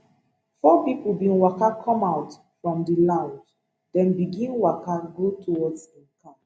four pipo bin waka comeout from di lounge dem begin waka go towards im car